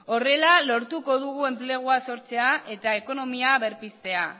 horrela lortuko dugu enplegua sortzea eta ekonomia berpiztea